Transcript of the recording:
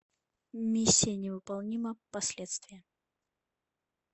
миссия невыполнима последствия